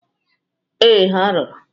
Ee, ha rụrụ.